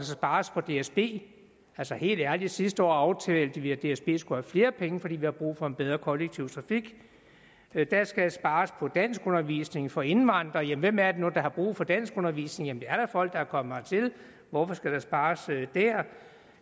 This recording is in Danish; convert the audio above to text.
spares på dsb altså helt ærligt sidste år aftalte vi at dsb skulle have flere penge fordi vi har brug for en bedre kollektiv trafik der skal spares på danskundervisning for indvandrere jamen hvem er det nu der har brug for danskundervisning det er da folk der er kommet hertil hvorfor skal der spares der det